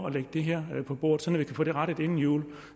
at lægge det her på bordet så vi kan få det rettet inden jul